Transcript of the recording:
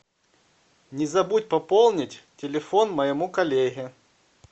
не забудь пополнить телефон моему коллеге